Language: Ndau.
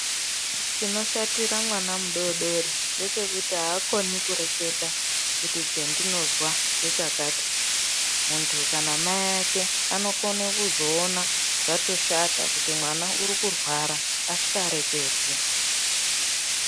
Chinoshatira mwana mudodori ngechekuti haakoni kureketa kuti chandinozwa ndechakati. Muntu kana mai ake anokona kuzoona zvatoshata kuti mwana uri kurwara asika reketi.